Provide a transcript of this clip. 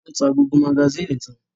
Wọ́n ta gbogbo magasínì tán?